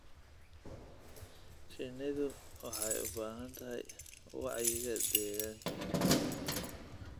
Shinnidu waxay u baahantahay wacyiga deegaanka.